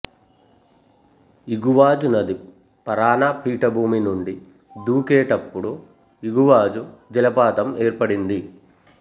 Iguazu నది Parana పీఠభూమి నుండి దూకేటపుడు ఇగువాజు జలపాతం ఏర్పడింది